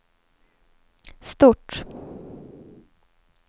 stort